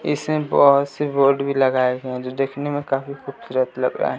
इसमें बहुत से बोर्ड भी लगाया गया जो देखने में काफी खूबसूरत लग रहा है।